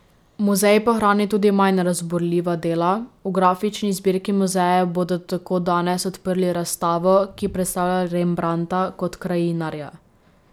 Muzej pa hrani tudi manj razburljiva dela, v grafični zbirki muzeja bodo tako danes odprli razstavo, ki predstavlja Rembrandta kot krajinarja.